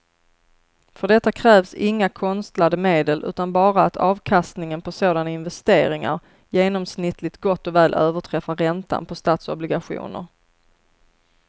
För detta krävs inga konstlade medel utan bara att avkastningen på sådana investeringar genomsnittligt gott och väl överträffar räntan på statsobligationer.